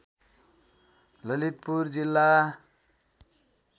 ललितपुर जिल्ला